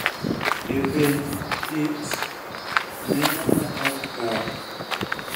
e penj, it(tymphanic membrane)neno ma ok kare